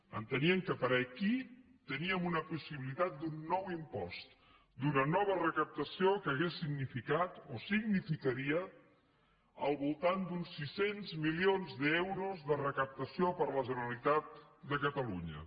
enteníem que per aquí teníem una possibilitat d’un nou impost d’una nova recaptació que hauria significat o significaria al voltant d’uns sis cents milions d’euros de recaptació per a la generalitat de catalunya